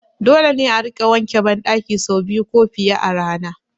Dole ne a rika wanke ban ɗaki sau biyu ko fiye a rana